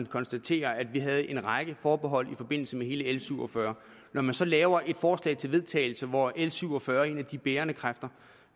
konstatere at vi havde en række forbehold i forbindelse med hele l syv og fyrre når man så laver et forslag til vedtagelse hvor l syv og fyrre er en af de bærende kræfter